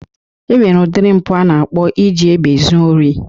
E nwere udiri mpụ a na-akpọ iji egbe zuo ori